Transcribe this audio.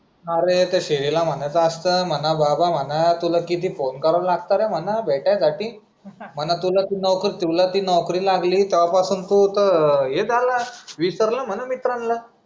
अरे त्या श्रीला म्हणायचं असतं म्हणा बाबा तुला म्हणा किती फोन करावा लागतो म्हणा भेटण्यासाठी. म्हणा तुला तू नौकर तुला ती नौकरी लागल्या पासून तू तर हे झाला, विसरला म्हणा मित्रांना.